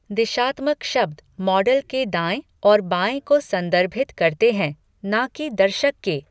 दिशात्मक शब्द मॉडल के दाएँ और बाएँ को संदर्भित करते हैं, ना कि दर्शक के।